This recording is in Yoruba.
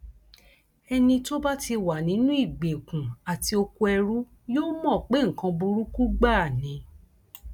ẹni tó bá ti wà nínú ìgbèkùn àti okoẹrú yóò mọ pé nǹkan burúkú gbáà ni